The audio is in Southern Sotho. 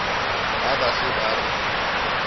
ha ba se ba re